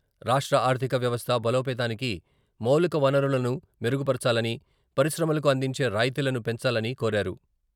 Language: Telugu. రాష్ట్ర ఆర్థిక వ్యవస్థ బలోపేతానికి మౌలికవనరులను మెరుగు పరచాలని, పరిశ్రమలకు అందించే రాయితీలను పెంచాలని కోరారు.